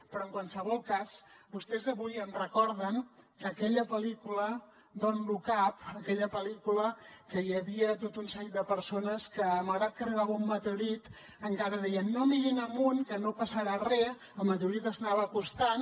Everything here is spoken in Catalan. però en qualsevol cas vostès avui em recorden aquella pel·lícula don’t look up aquella pel·lícula que hi havia tot un seguit de persones que malgrat que arribava un meteorit encara deien no mirin amunt que no passarà res i el meteorit s’anava acostant